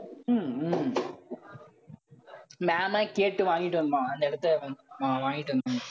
உம் உம் ma'am யே கேட்டு வாங்கிட்டு வந்தோம், அந்த இடத்தை அஹ் அஹ் வாங்கிட்டு வந்தோம்